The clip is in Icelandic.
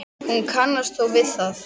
Hún kannast þó við það.